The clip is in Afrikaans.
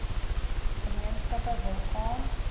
gemeenskappe wil gaan